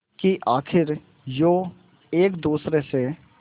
कि आखिर यूं एक दूसरे से